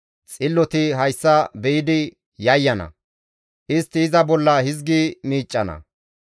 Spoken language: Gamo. Xilloti hayssa be7idi yayyana; istti iza bolla hizgi miiccana;